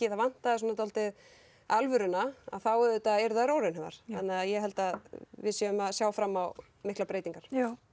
það vantaði dálítið alvöruna þá auðvitað eru þær óraunhæfar ég held að við séum að sjá fram á miklar breytingar